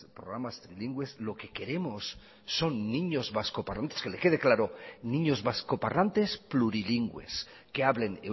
programas trilingües lo que queremos son niños vascoparlantes que le quede claro niños vascoparlantes plurilingües que hablen